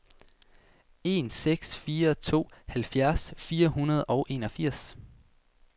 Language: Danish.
en seks fire to halvfjerds fire hundrede og enogfirs